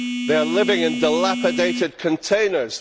They are living in dilapidated containers